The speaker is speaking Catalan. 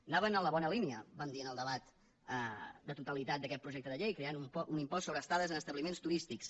anaven en la bona línia vam dir en el debat de totalitat d’aquest projecte de llei creant un impost sobre estades en establiments turístics